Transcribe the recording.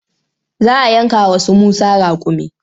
Za a yanka wa su Musa raƙumi.